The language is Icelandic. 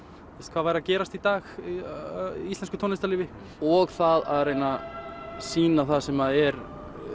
hvað væri að gerast í dag í íslensku tónlistarlífi og það að reyna sýna það sem er